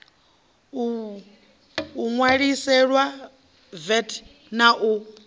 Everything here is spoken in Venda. o ṋwaliselwa vat na u